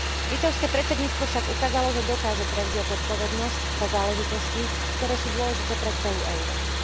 Litovské predsedníctvo však ukázalo, že dokáže prevziať zodpovednosť za záležitosti, ktoré sú dôležité pre celú Európu.